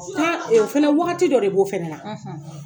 o fana wagati dɔ de b'o fɛnɛ na.